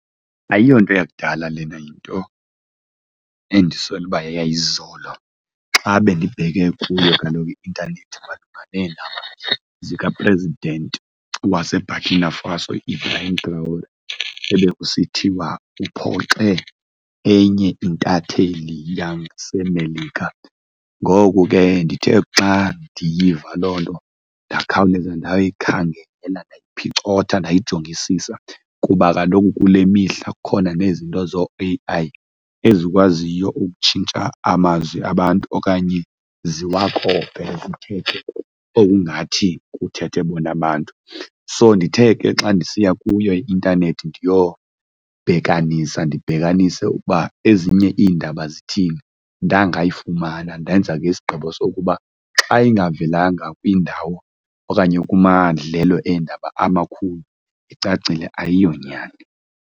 Ayiyonto yakudala lena, yinto endisola uba yeyayizolo. Xa bendibheke kuyo kaloku i-ntanethi zikaPresident waseBurkina Faso ebekusithiwa uphoxeke enye intatheli yaseMelika. Ngoku ke ndithe xa ndiyiva loo nto ndingakhawuleza ndayo yikhangela, ndayiphicotha ndayijongisisa kuba kaloku kule mihla kukhona nezizinto zoo-A_I, ezikwaziyo ukutshintsha amazwi abantu okanye ziwakope zithethe okungathi kuthethe bona abantu. So ndithe ke xa ndisiya kuyo i-intanethi ndiyobhekanisa ndibhekanise ukuba ezinye iindaba zithini, ndangayifumana ndenza ke isigqibo sokuba xa ingavelanga kwiindawo okanye kumadlelo eendaba amakhulu, icacile ayiyonyani.